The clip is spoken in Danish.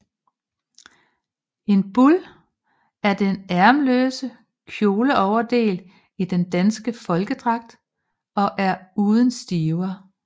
En bul er den ærmeløse kjoleoverdel i den danske folkedragt og er uden stiver